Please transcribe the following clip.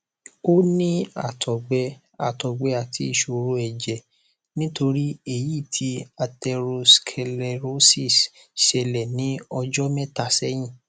ó ní àtọgbẹ àtọgbẹ àti ìṣòro ẹjẹ nítorí èyí tí atherosclerosis ṣẹlẹ ní ọjọ mẹta sẹyìn